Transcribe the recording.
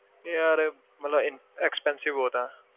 ਯਾਰ ਮਤਲਬ ਇਨ~ expensive ਬਹੁਤ ਹੈ।